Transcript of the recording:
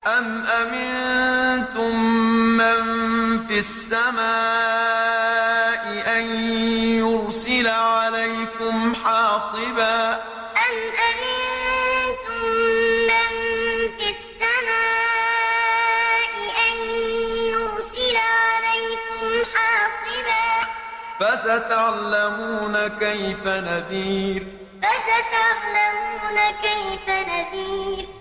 أَمْ أَمِنتُم مَّن فِي السَّمَاءِ أَن يُرْسِلَ عَلَيْكُمْ حَاصِبًا ۖ فَسَتَعْلَمُونَ كَيْفَ نَذِيرِ أَمْ أَمِنتُم مَّن فِي السَّمَاءِ أَن يُرْسِلَ عَلَيْكُمْ حَاصِبًا ۖ فَسَتَعْلَمُونَ كَيْفَ نَذِيرِ